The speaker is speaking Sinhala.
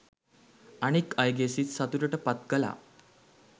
අනෙක් අයගේ සිත් සතුටට පත් කළා